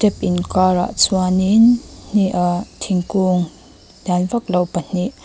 tap inkarah chuanin hne ah thingkung lian vak lo pahnih --